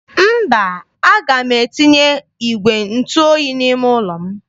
Mba, aga m etinye igwe ntụ oyi n'ime ụlọ m.